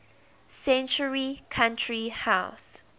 century country house